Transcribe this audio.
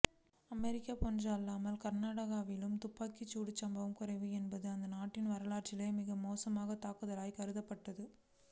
America போன்று அல்லாமல் கனடாவில் துப்பாக்கிச்சூடு சம்பவங்கள் குறைவு என்பதால் அந்நாட்டின் வரலாற்றிலேயே மிக மோசமான தாக்குதலாகக் கருதப்பட்டது